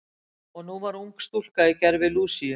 Og nú var ung stúlka í gervi Lúsíu.